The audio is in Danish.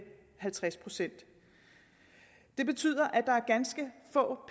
halvtreds procent det betyder at ganske få